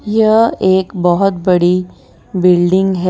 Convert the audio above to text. यह एक बहोत बड़ी बिल्डिंग है।